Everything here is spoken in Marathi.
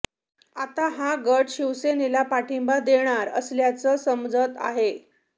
आता हा गट शिवसेनेला पाठिंबा देणार असल्याचं समजतं आहे